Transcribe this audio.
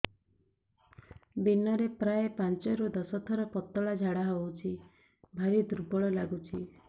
ଦିନରେ ପ୍ରାୟ ପାଞ୍ଚରୁ ଦଶ ଥର ପତଳା ଝାଡା ହଉଚି ଭାରି ଦୁର୍ବଳ ଲାଗୁଚି